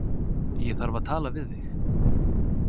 Ég þarf að tala við þig